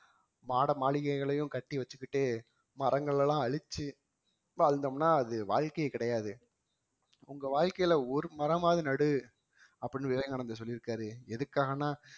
மாட மாளிகைகளையும் கட்டி வச்சிக்கிட்டு மரங்களெல்லாம் அழிச்சி வாழ்ந்தோம்னா அது வாழ்க்கையே கிடையாது உங்க வாழ்க்கையில ஒரு மரமாவது நடு அப்படினு விவேகானந்தர் சொல்லியிருக்காரு எதுக்காகன்னா